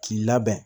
K'i labɛn